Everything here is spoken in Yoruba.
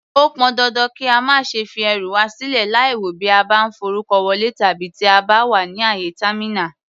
Ó pọn dandan kí a má ṣe fi ẹrù wà sílè láìwò bí a bá ń forúkọ wọlé tàbí tí a bá wà ní àyè támínà.